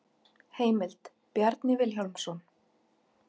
Heimild: Bjarni Vilhjálmsson.